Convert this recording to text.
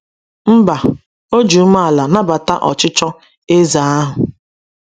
Mba, o ji umeala nabata ọchịchọ eze ahụ.